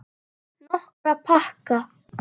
Nokkra pakka.